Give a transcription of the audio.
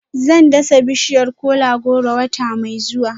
Zan dasa bishiyar kola-goro wata mai zuwa